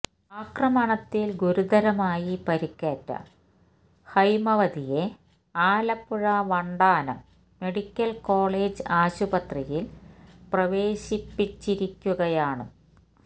ആക്രമണത്തില് ഗുരുതരമായി പരിക്കേറ്റ ഹൈമവതിയെ ആലപ്പുഴ വണ്ടാനം മെഡിക്കല് കോളേജ് ആശുപത്രിയില് പ്രവേശിപ്പിച്ചിരിക്കുകയാണ്